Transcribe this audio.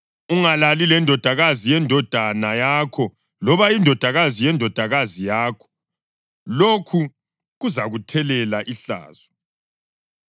Ungalali lendodakazi yendodana yakho loba indodakazi yendodakazi yakho; lokhu kuzakuthelela ihlazo.